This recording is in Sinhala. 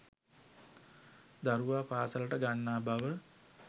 දරුවා පාසලට ගන්නා බව